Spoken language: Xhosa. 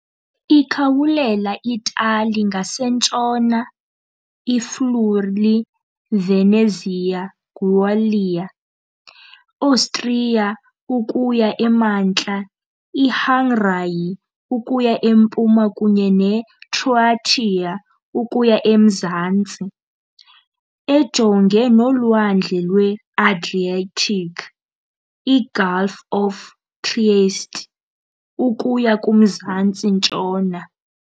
Ikhawulela i-Itali ngasentshona, i-Friuli-Venezia Giulia, i-Austria ukuya emantla, iHungary ukuya empuma kunye neCroatia ukuya emazantsi, ejongene noLwandle lwe-Adriatic, iGulf of Trieste, ukuya kumzantsi-ntshona.